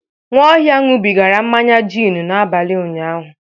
Nwaohia ṅụbigara mmanya gin n'abalị ụnyaahụ.